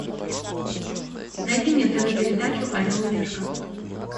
найди мне тв передачу орел и решка